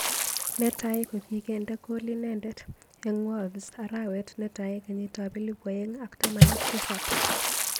Netai kokikende kol inendet eng Wolves arawet netai kenyit ab elipu aeng ak taman ak tisab.